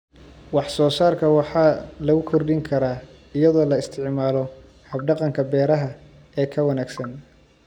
Wax-soo-saarka waxa lagu kordhin karaa iyadoo la isticmaalo hab-dhaqanka beeraha ee ka wanaagsan.